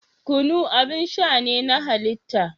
Kunu abin sha ne na halitta.